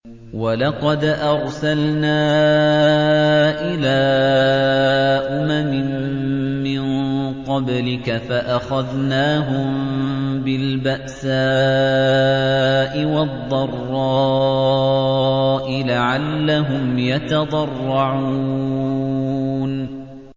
وَلَقَدْ أَرْسَلْنَا إِلَىٰ أُمَمٍ مِّن قَبْلِكَ فَأَخَذْنَاهُم بِالْبَأْسَاءِ وَالضَّرَّاءِ لَعَلَّهُمْ يَتَضَرَّعُونَ